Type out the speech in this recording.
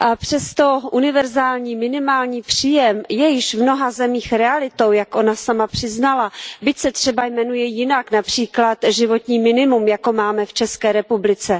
Přesto univerzální minimální příjem je již v mnoha zemích realitou, jak ona sama přiznala, byť se třeba jmenuje jinak, například životní minimum, jako máme v České republice.